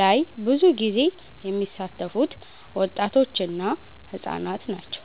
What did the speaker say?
ላይ ብዙ ጊዜ የሚሳተፉት ወጣቶች እና ህፃናት ናቸው።